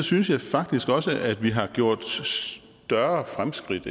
synes faktisk også at vi har gjort større fremskridt